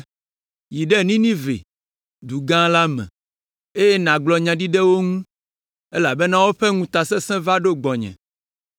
“Yi ɖe Ninive, du gã la me, eye nàgblɔ nya ɖi ɖe wo ŋu, elabena woƒe ŋutasẽse va ɖo gbɔnye.”